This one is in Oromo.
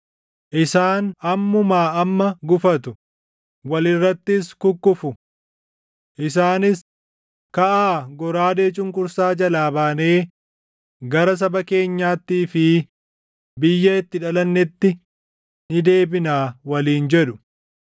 Isaan ammumaa amma gufatu; wal irrattis kukkufu. Isaanis, ‘Kaʼaa goraadee cunqursaa jalaa baanee gara saba keenyaattii fi biyya itti dhalannetti ni deebinaa’ waliin jedhu.